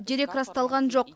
дерек расталған жоқ